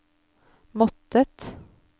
måttet